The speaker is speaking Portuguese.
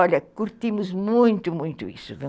Olha, curtimos muito, muito isso.